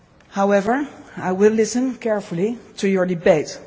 steps. However, I will listen carefully to your